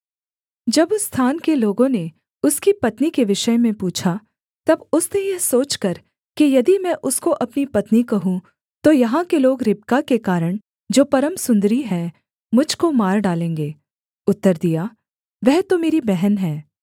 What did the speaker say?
जब उस स्थान के लोगों ने उसकी पत्नी के विषय में पूछा तब उसने यह सोचकर कि यदि मैं उसको अपनी पत्नी कहूँ तो यहाँ के लोग रिबका के कारण जो परम सुन्दरी है मुझ को मार डालेंगे उत्तर दिया वह तो मेरी बहन है